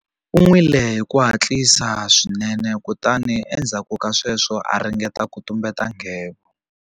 U nwile hi ku hatlisa swinene kutani endzhaku ka sweswo a ringeta ku tumbeta nghevo.